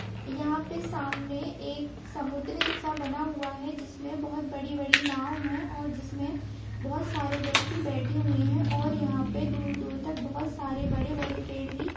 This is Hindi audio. यहाँ पे सामने एक समुद्र-सा बना हुआ है जिसमें बहुत बड़ी-बड़ी नाव है और जिसमें बहुत सारे व्यक्ति बेठे हुए हैं और यहाँ पे दूर-दूर तक बहुत सारे बड़े-बड़े पेड़ भी --